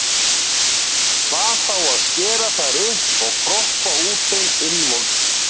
Hvað þá að skera þær upp og kroppa úr þeim innvolsið.